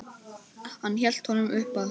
Hann hélt honum uppað sér.